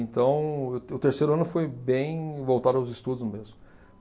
Então, o te o terceiro ano foi bem voltado aos estudos mesmo.